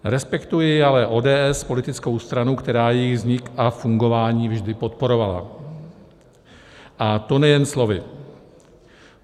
Respektuji ale ODS, politickou stranu, která jejich vznik a fungování vždy podporovala, a to nejen slovy.